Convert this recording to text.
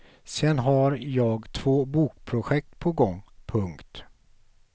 Sen har jag två bokprojekt på gång. punkt